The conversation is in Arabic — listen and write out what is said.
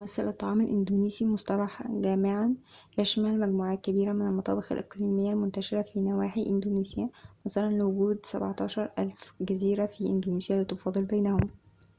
يمثّل الطعام الإندونيسي مصطلحاً جامعاً يشمل مجموعة كبيرة من المطابخ الإقليمية المنتشرة في نواحي إندونيسيا نظراً لوجود 17000 جزيرة في إندونيسيا لتفاضل بينهم